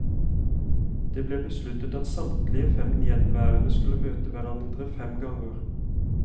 Det ble besluttet at samtlige fem gjenværende skulle møte hverandre fem ganger.